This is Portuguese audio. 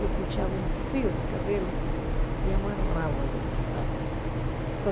Eu puxava um fio do cabelo e amarrava ali, sabe?